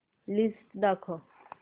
list दाखव